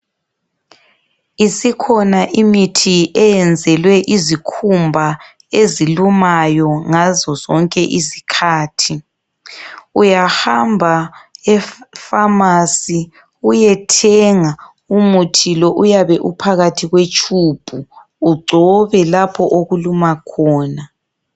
Isikhona imithi eyenzelwe izikhumba ezilumayo ngazo zonke izikhathi. Uyahamba e pharmacy uyethenga umuthi lo. Uyabe uphakathi kwe tshubhu. Ugcobe lapho okuluma khona.